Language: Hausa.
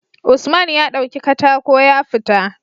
Usman ya dauki katako ya fita